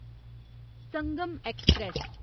Sangam express